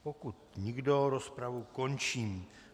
Pokud nikdo, rozpravu končím.